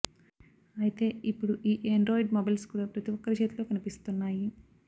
అయితే ఇప్పడు ఈ ఏండ్రాయిడ్ మొబైల్స్ కూడా ప్రతి ఒక్కరి చేతిలో కనిపిస్తున్నాయి